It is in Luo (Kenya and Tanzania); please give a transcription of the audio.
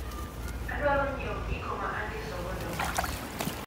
Adwaro nyiewo gigo ma andiso godo ot.